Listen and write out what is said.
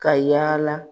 Ka yaala